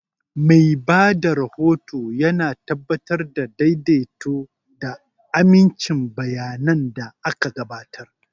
Mai ba da rahoto yana tabbatar da daidaito da amincin bayanan da aka gabatar.